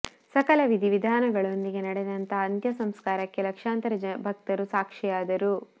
ಸಕಲ ವಿಧಿ ವಿಧಾನಗಳೊಂ ದಿಗೆ ನಡೆದಂತಹ ಅಂತ್ಯ ಸಂಸ್ಕಾರಕ್ಕೆ ಲಕ್ಷಾಂತರ ಭಕ್ತರು ಸಾಕ್ಷಿಯಾದರು